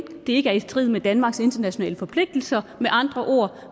det ikke er i strid med danmarks internationale forpligtelser med andre ord